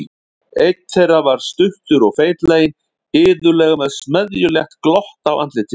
Einn þeirra var stuttur og feitlaginn, iðulega með smeðjulegt glott á andlitinu.